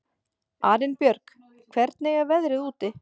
Arinbjörg, hvernig er veðrið úti?